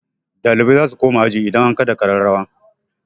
Ɗalibai zasu koma aji idan an kaɗa ƙararrawa.